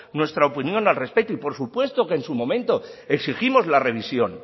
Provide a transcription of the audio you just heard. nuestra opinión al respecto y por supuesto que en su momento exigimos la revisión